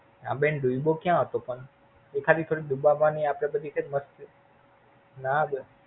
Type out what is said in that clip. હા બેન ડુબો કયા હતો પણ? એ ખાલી ડુબાવાની આપડી બધી ના બેન. Fun